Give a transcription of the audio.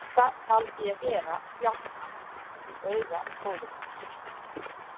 Þetta taldi ég vera bjálkann í auga bróður míns.